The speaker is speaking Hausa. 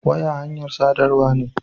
Waya hanyar sadarwa ne.